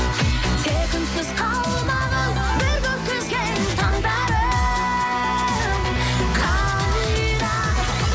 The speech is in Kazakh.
тек үнсіз қалмағын бірге өткізген таңдарым қайда